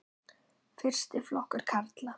Fyrsti flokkur karla.